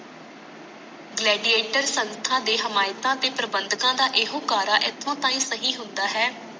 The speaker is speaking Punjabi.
legiator ਸੰਸਥਾ ਦੇ ਹਿਮਾਯਤਾਂ ਤੇ ਪਰਵੰਦਕਾਂ ਦਾ ਇਹੋ ਕਾਰਾ ਇਥੋਂ ਤਾਹੀ ਸਹੀ ਹੁੰਦਾ ਹੈ